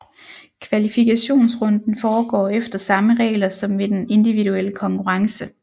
Kvalifikationsrunden foregår efter samme regler som ved den individuelle konkurrence